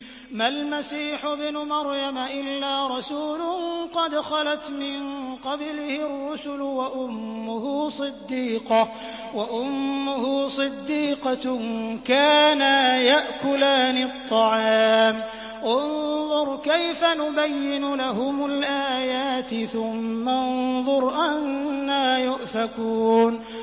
مَّا الْمَسِيحُ ابْنُ مَرْيَمَ إِلَّا رَسُولٌ قَدْ خَلَتْ مِن قَبْلِهِ الرُّسُلُ وَأُمُّهُ صِدِّيقَةٌ ۖ كَانَا يَأْكُلَانِ الطَّعَامَ ۗ انظُرْ كَيْفَ نُبَيِّنُ لَهُمُ الْآيَاتِ ثُمَّ انظُرْ أَنَّىٰ يُؤْفَكُونَ